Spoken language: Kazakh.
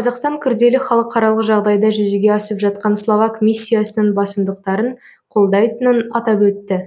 қазақстан күрделі халықаралық жағдайда жүзеге асып жатқан словак миссиясының басымдықтарын қолдайтынын атап өтті